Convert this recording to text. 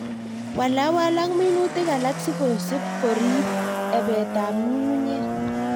Walwal ak minutik alak sikosib korib ibetab ng'ung'unyek.